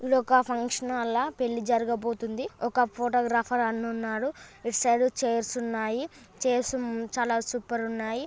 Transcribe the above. ఇది ఒక function hall ల పెళ్లి జరగబోతుంది ఒక ఫోటోగ్రాఫర్ అన్న ఉన్నాడు ఇటు సైడ్ చైర్ స్ ఉన్నాయి చైర్ స్ చాలా సూపర్ ఉన్నాయి.